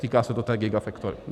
Týká se to té gigafactory.